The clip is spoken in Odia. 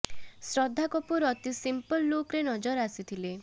ଶ୍ରଦ୍ଧା କପୁର ଅତି ସିମ୍ପଲ ଲୁକ୍ ରେ ନଜର ଆସିଥିଲେ